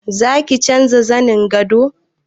Za ki canja zanen gadon?